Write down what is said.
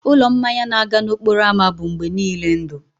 ụlọ mmanya na-aga n'okporo ámá bụ mgbe niile ndụ